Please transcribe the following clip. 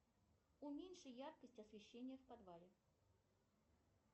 уменьши яркость освещения в подвале